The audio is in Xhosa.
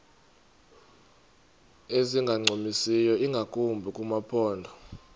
ezingancumisiyo ingakumbi kumaphondo